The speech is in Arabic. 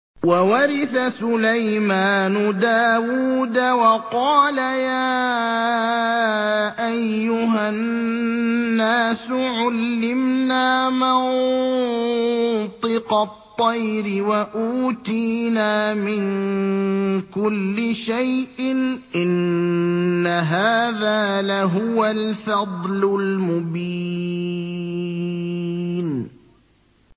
وَوَرِثَ سُلَيْمَانُ دَاوُودَ ۖ وَقَالَ يَا أَيُّهَا النَّاسُ عُلِّمْنَا مَنطِقَ الطَّيْرِ وَأُوتِينَا مِن كُلِّ شَيْءٍ ۖ إِنَّ هَٰذَا لَهُوَ الْفَضْلُ الْمُبِينُ